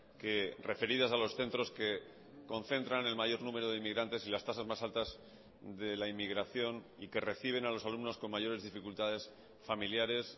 que referidas a los centros que concentran el mayor número de inmigrantes y las tasas más altas de la inmigración y que reciben a los alumnos con mayores dificultades familiares